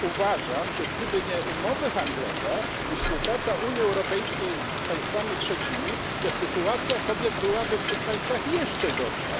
Uważam, że gdyby nie umowy handlowe i współpraca Unii Europejskiej z państwami trzecimi, to sytuacja kobiet byłaby w tych państwach jeszcze gorsza.